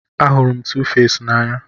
Ahụrụ m Tuface n'anya